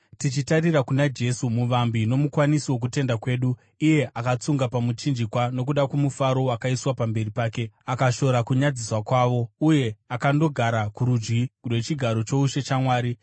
Tichitarira kuna Jesu muvambi nomukwanisi wokutenda kwedu; iye akatsunga pamuchinjikwa nokuda kwomufaro wakaiswa pamberi pake, akashora kunyadziswa kwawo, uye akandogara kurudyi rwechigaro choushe chaMwari.